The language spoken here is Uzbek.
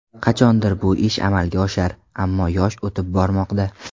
Qachondir bu ish amalga oshar, ammo yosh o‘tib bormoqda.